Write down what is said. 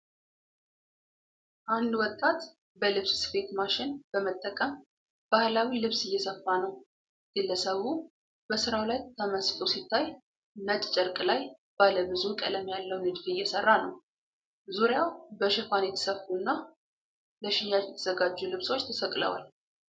አንድ ወጣት በልብስ ስፌት ማሽን በመጠቀም ባህላዊ ልብስ እየሰፋ ነው። ግለሰቡ በስራው ላይ ተመስጦ ሲታይ፣ ነጭ ጨርቅ ላይ ባለ ብዙ ቀለም ያለው ንድፍ እየሰራ ነው። ዙሪያው በሽፋን የተሰፉና ለሽያጭ የተዘጋጁ ልብሶች ተሰቅለዋል።